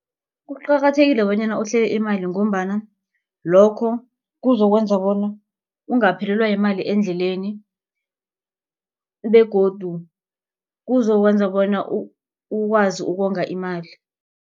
Kuqakathekile bonyana uhlele imali ngombana lokho kuzokwenza bona ungaphelelwa yimali endleleni begodu kuzokwenza bona ukwazi ukonga imali.